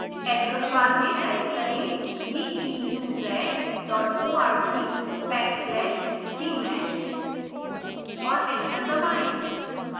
address bar में type करें